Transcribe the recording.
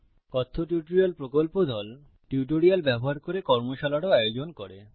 কথ্য টিউটোরিয়াল প্রকল্প দল টিউটোরিয়াল ব্যবহার করে কর্মশালারও আয়োজন করে